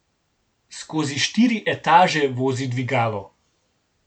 Skozi štiri etaže vozi dvigalo.